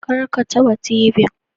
Kar ka ta ba tibin